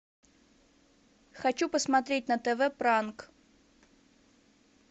хочу посмотреть на тв пранк